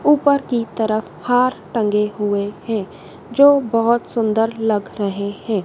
ऊपर की तरफ हार टंगे हुए हैं जो बहोत सुंदर लग रहे हैं।